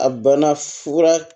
A bana fura